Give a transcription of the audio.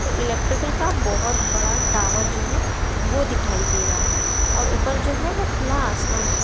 तो इलेक्ट्रिकल का बहुत बड़ा टॉवर जो है वो दिखाई दे रहा है और ऊपर जो है वो खुला आसमान दिख--